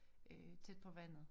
Øh tæt på vandet